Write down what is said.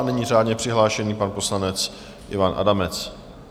A nyní řádně přihlášený pan poslanec Ivan Adamec.